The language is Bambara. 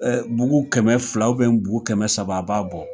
Ɛ bugu kɛmɛ filaw u biyɛn bugu kɛmɛ saba a b'a bɔ